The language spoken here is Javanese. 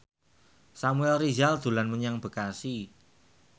Samuel Rizal dolan menyang Bekasi